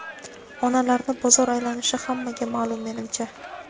Onalarni bozor aylanishi hammaga maʼlum menimcha.